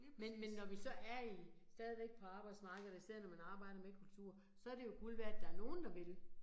Men men når vi så er i, stadigvæk på arbejdsmarkedet, og især når man arbejder med kultur, så det jo guld værd, at der nogen, der vil